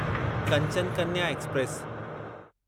Kanchan Kanya express